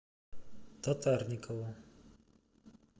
татарникову